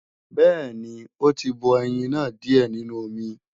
Bẹ́ẹ̀ni ó tí bọ ẹyin náà díè nínú omi